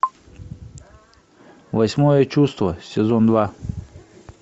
восьмое чувство сезон два